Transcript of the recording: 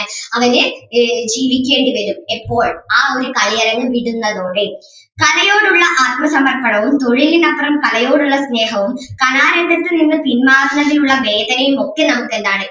അവന് ജീവിക്കേണ്ടി വരും ഇപ്പോൾ ആ ഒരു കളിയരങ്ങ് വിടുന്നതോടെ. കലയോടുള്ള ആത്മസമർപ്പണവും തൊഴിലിനപ്പുറം കലയോടുള്ള സ്നേഹവും കലാരംഗത്തു നിന്ന് പിന്മാറുന്നതിൽ ഉള്ള വേദനയും ഒക്കെ നമുക്ക് എന്താണ്